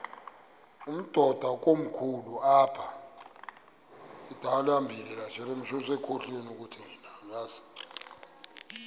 umdudo komkhulu apha